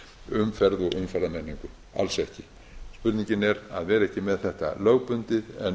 umferð og umferðarmenningu alls ekki spurningin er að vera ekki með þetta lögbundið